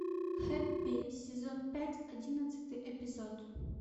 хэппи сезон пять одиннадцатый эпизод